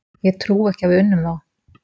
Ég trúi ekki að við unnum þá.